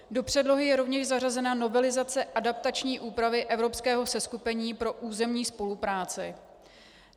Do předlohy je rovněž zařazena novelizace adaptační úpravy evropského seskupení pro územní spolupráci.